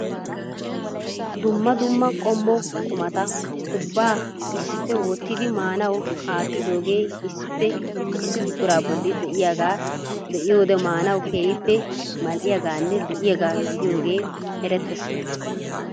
Dumma dumma qommo qumata ubbaa issippe wottidi maanaw aattidooge issippe issi buqura bolla de'iyaaga be'iyoode maanaw keehippe mal"iyaaganne lo"iyaaga gidiyooge erettees.